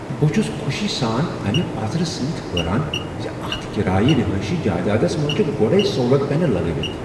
بہٕ چھٗس خوشی سان امہ پزرٕ سۭتۍ حیران ز اتھ کرایہ رہایشی جائیدادس منز چھ گۄڈے سولر پینل لگٲوِتھ ۔